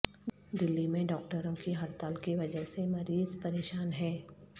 دلی میں ڈاکٹروں کی ہڑتال کی وجہ سے مریض پریشان ہیں